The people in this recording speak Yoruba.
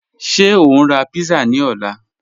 Ṣẹ o n ra pizza ni ọ̀lá?